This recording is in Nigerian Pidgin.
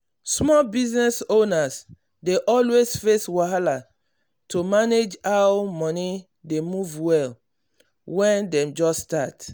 small business owners dey always face wahala to manage how moni dey move well when dem just start.